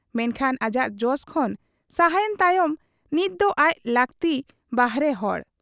ᱢᱮᱱᱠᱷᱟᱱ ᱟᱡᱟᱜ ᱡᱚᱥ ᱠᱷᱚᱱ ᱥᱟᱦᱟᱭᱮᱱ ᱛᱟᱭᱚᱢ ᱱᱤᱛ ᱫᱚ ᱟᱡ ᱞᱟᱹᱠᱛᱤ ᱵᱟᱦᱮᱨ ᱦᱚᱲ ᱾